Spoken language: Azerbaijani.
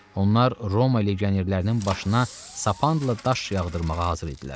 Onlar Roma legionerlərinin başına sapanla daş yağdırmağa hazır idilər.